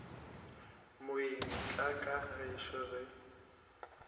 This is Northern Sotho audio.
moeng tla ka gešo re